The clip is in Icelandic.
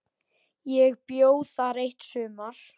Ég bjó þar eitt sumar.